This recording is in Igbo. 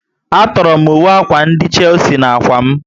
A tọrọ m uwe akwa ndị Chelsea na ákwà m